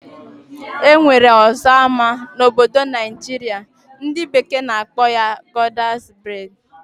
Enwere ọzọ ama na obodo Naijiria, ndi bekee na akpọ ya Goddess braids.